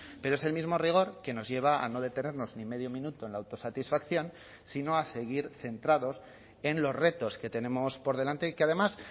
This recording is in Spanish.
pero es el mismo rigor que nos lleva a no detenernos ni medio minuto en la autosatisfacción sino a seguir centrados en los retos que tenemos por delante y que además